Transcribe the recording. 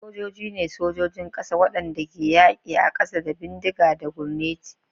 Sojoji ne sojojin ƙafa waɗanda ke yaƙi a ƙasa da bindigogi da gurneti.